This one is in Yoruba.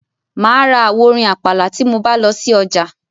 Mà á ra àwo orin àpàlà tí mo bá lọ sí ọjà.